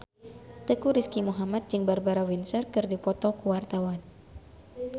Teuku Rizky Muhammad jeung Barbara Windsor keur dipoto ku wartawan